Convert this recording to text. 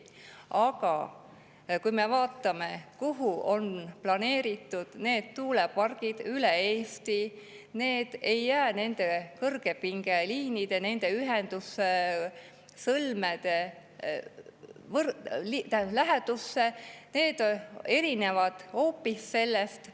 Aga vaatame, kuhu on planeeritud tuulepargid üle Eesti: need ei jää nende kõrgepingeliinide, nende ühendussõlmede lähedusse, nende hoopis erineb sellest.